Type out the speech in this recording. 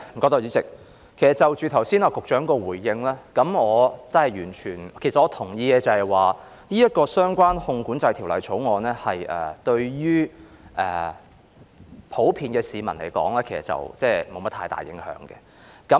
代理主席，就局長剛才的回應，我可真的完全......我同意《汞管制條例草案》於普遍市民而言，其實沒有太大影響。